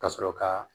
Ka sɔrɔ ka